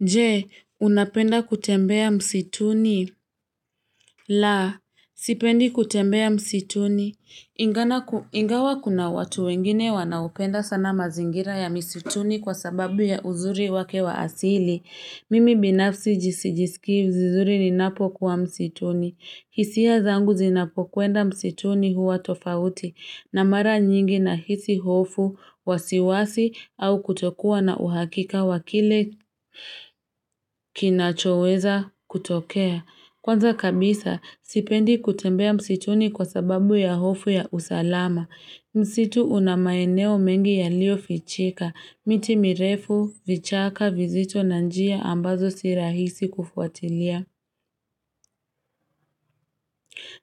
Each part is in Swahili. Je, unapenda kutembea msituni? La, sipendi kutembea msituni. Ingawa kuna watu wengine wanaopenda sana mazingira ya msituni kwa sababu ya uzuri wake wa asili. Mimi binafsi sijiskii vizuri ninapo kuwa msituni. Hisia zangu zinapokwenda msituni huwa tofauti. Na mara nyingi nahisi hofu, wasiwasi, au kutokuwa na uhakika wa kile kinachoweza kutokea. Kwanza kabisa, sipendi kutembea msituni kwa sababu ya hofu ya usalama. Msitu una maeneo mengi yaliyofichika, miti mirefu, vichaka, vizito, na njia, ambazo si rahisi kufuatilia.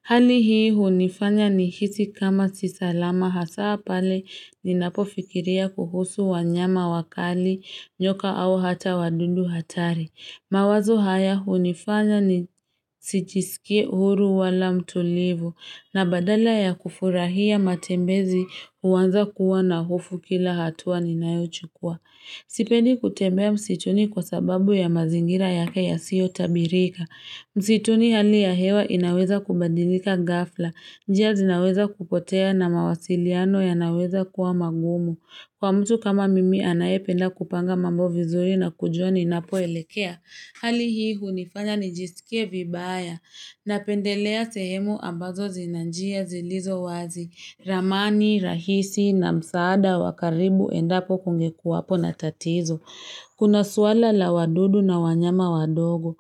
Hali hii hunifanya nihisi kama si salama hasa pale ninapofikiria kuhusu wanyama wakali, nyoka au hata wadudu hatari. Mawazo haya hunifanya sijisikii huru wala mtulivu na badala ya kufurahia matembezi huanza kuwa na hofu kila hatua ninayochukua. Sipendi kutembea msituni kwa sababu ya mazingira yake yasiyotabirika. Msituni hali ya hewa inaweza kubadilika ghafla. Njia zinaweza kupotea na mawasiliano yanaweza kuwa magumu. Kwa mtu kama mimi anayependa kupanga mambo vizuri na kujua ninapoelekea. Hali hii hunifanya nijisikie vibaya. Napendelea sehemu ambazo zina njia zilizo wazi. Ramani, rahisi na msaada wa karibu endapo kungekuwapo na tatizo. Kuna swala la wadudu na wanyama wadogo.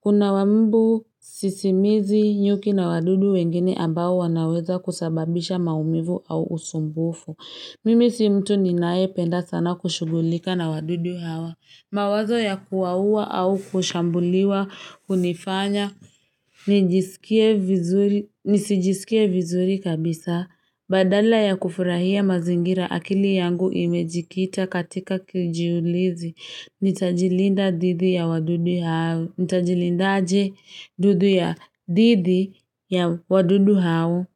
Kuna wa mbu sisimizi nyuki na wadudu wengine ambao wanaweza kusababisha maumivu au usumbufu. Mimi si mtu ninayependa sana kushughulika na wadudu hawa. Mawazo ya kuwaua au kushambuliwa hunifanya, nisijisikie vizuri kabisa, badala ya kufurahia mazingira akili yangu imejikita katika kijiulizi, nitajilindaje dhidi ya wadudu hao?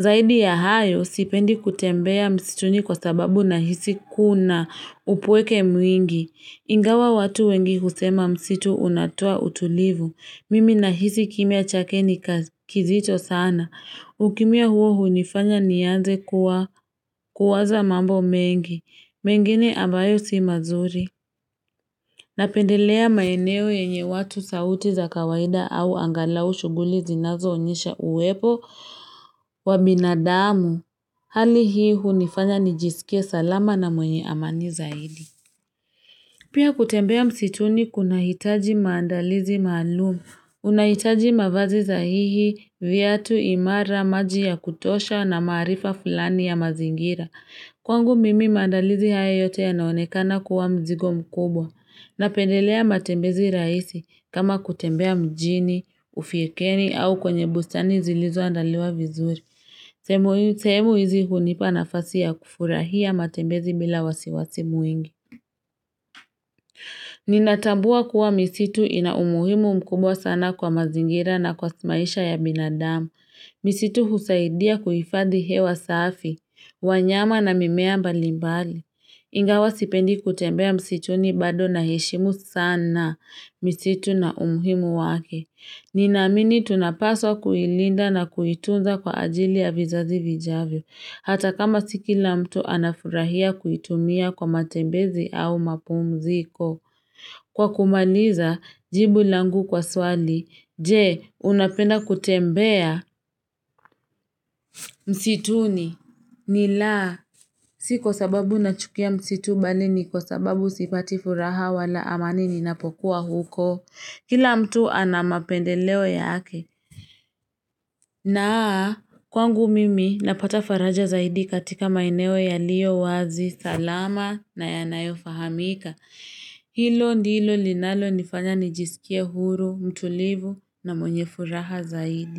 Zaidi ya hayo, sipendi kutembea msituni kwa sababu nahisi kuna upweke mwingi. Ingawa watu wengi kusema msitu unatua utulivu. Mimi nahisi kimya chake ni kizito sana. Ukimya huo hunifanya nianze kuwaza mambo mengi. Mengine ambayo si mazuri. Napendelea maeneo yenye watu sauti za kawaida au angalau shughuli zinazoonyesha uwepo wa binadamu. Hali hii hunifanya nijisikie salama na mwenye amani zaidi. Pia kutembea msituni kunahitaji maandalizi maalumu. Unahitaji mavazi sahihi, viatu, imara, maji ya kutosha na maarifa fulani ya mazingira. Kwangu mimi maandalizi haya yote yanaonekana kuwa mzigo mkubwa. Napendelea matembezi rahisi kama kutembea mjini, ufukweni au kwenye bustani zilizoandaliwa vizuri. Sehemu hizi hunipa nafasi ya kufurahia matembezi bila wasi wasi mwingi. Ninatambua kuwa misitu ina umuhimu mkubwa sana kwa mazingira na kwa maisha ya binadamu. Misitu husaidia kuhifadhi hewa safi, wanyama na mimea mbali mbali. Ingawa sipendi kutembea msituni bado naheshimu sana misitu na umuhimu wake. Ninaamini tunapaswa kuilinda na kuitunza kwa ajili ya vizazi vijavyo. Hata kama si kila mtu anafurahia kuitumia kwa matembezi au mapumziko. Kwa kumaliza, jibu langu kwa swali, je, unapenda kutembea? Msituni, ni la. Si kwa sababu nachukia msitu bali ni kwa sababu sipati furaha wala amani ninapokuwa huko. Kila mtu ana mapendeleo yake na kwangu mimi napata faraja zaidi katika maeneo yaliyo wazi, salama na yanayofahamika. Hilo ndilo linalonifanya nijisikie huru, mtulivu na mwenye furaha zaidi.